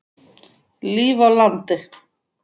Líf á landi.